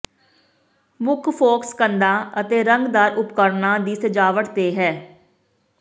ਮੁੱਖ ਫੋਕਸ ਕੰਧਾਂ ਅਤੇ ਰੰਗਦਾਰ ਉਪਕਰਣਾਂ ਦੀ ਸਜਾਵਟ ਤੇ ਹੈ